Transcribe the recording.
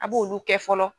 A b'olu kɛ fɔlɔ